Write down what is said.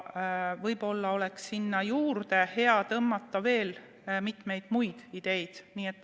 Võib-olla oleks hea sinna juurde tõmmata veel mitmeid muid ideid.